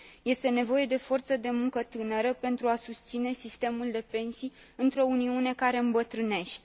Este nevoie de forță de muncă tânără pentru a susține sistemul de pensii, într o Uniune care îmbătrânește.